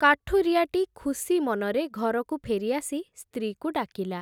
କାଠୁରିଆଟି ଖୁସିମନରେ ଘରକୁ ଫେରି ଆସି, ସ୍ତ୍ରୀକୁ ଡାକିଲା ।